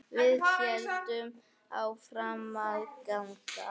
Við héldum áfram að ganga.